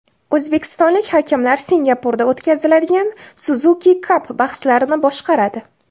O‘zbekistonlik hakamlar Singapurda o‘tkaziladigan Suzuki Cup bahslarini boshqaradi.